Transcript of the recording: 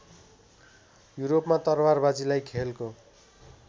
युरोपमा तरवारबाजीलाई खेलको